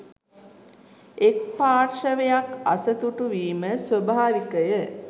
එක් පාර්ශවයක් අසතුටු වීම ස්වභාවිකය